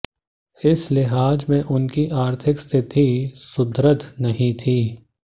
इस लिहाज से उनकी आर्थिक स्थिति सुदृढ़ नहीं थी